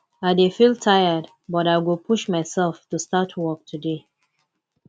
i dey feel tired but i go push myself to start work today